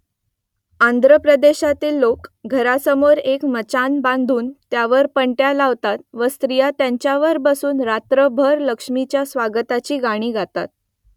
आंध्र प्रदेशातील लोक घरासमोर एक मचाण बांधून त्यावर पणत्या लावतात व स्त्रिया त्याच्यावर बसून रात्रभर लक्ष्मीच्या स्वागताची गाणी गातात